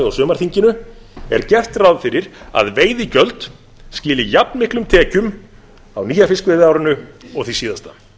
á sumarþinginu er gert ráð fyrir að veiðigjöld skili jafn miklum tekjum á yfirstandandi fiskveiðiári og því síðasta